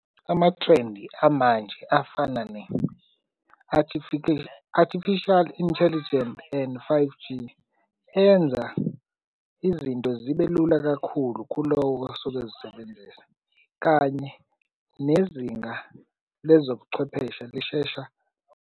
Amathrendi amanje afana artificial intelligent and five G enza izinto zibelula kakhulu kulowo osuke ezisebenzela, kanye nezinga lwezobuchwepheshe lishesha.